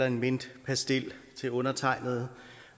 en mintpastil til undertegnede